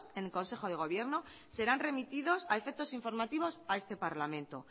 en el consejo de gobierno serán remitidos a efectos informativos a este parlamento